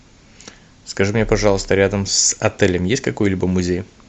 скажи мне пожалуйста рядом с отелем есть какой либо музей